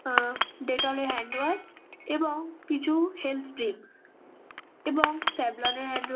আহ Dettol -এর handwash এবং কিছু হেলথ ড্রিংকস এবং স্যাভলনের হ্যান্ড --